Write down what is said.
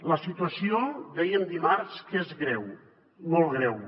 la situació dèiem dimarts que és greu molt greu